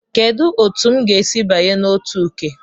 Kedu otu m ga-esi banye na otu Uke?